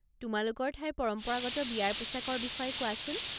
তোমালোকৰ ঠাইৰ পৰম্পৰাগত বিয়াৰ পোচাকৰ বিষয়ে কোৱাচোন।